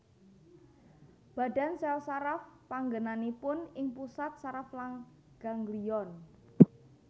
Badan sèl saraf panggènanipun ing pusat saraf lan ganglion